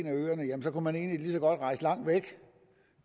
af øerne kunne man egentlig lige så godt rejse langt væk